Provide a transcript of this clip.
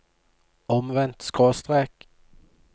omvendt skråstrek